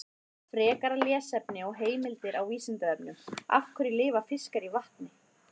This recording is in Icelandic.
Frekara lesefni og heimildir á Vísindavefnum: Af hverju lifa fiskar í vatni?